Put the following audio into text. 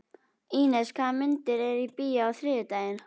Ínes, hvaða myndir eru í bíó á þriðjudaginn?